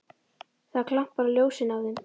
Það glampar á ljósin af þeim.